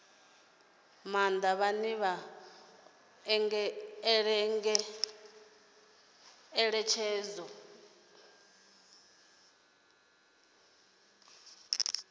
maanḓa vhane vha ṱoḓa ngeletshedzo